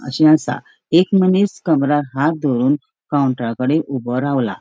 अशे आसा एक मनिस कमराक हाथ दोवरून काउंटरा कडे ऊबो रावला.